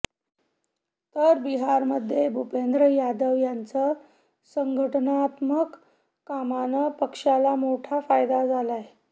तर बिहारमध्ये भूपेंद्र यादव यांचं संघटनात्मक कामानं पक्षाला मोठा फायदा झालाय